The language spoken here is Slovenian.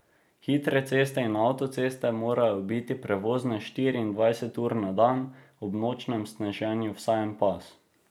Hitre ceste in avtoceste morajo biti prevozne štiriindvajset ur na dan, ob nočnem sneženju vsaj en pas.